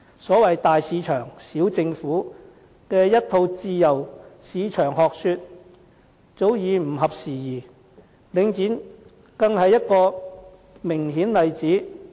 所謂"大市場，小政府"的一套自由市場學說，早已不合時宜，領展便是一個明顯例子。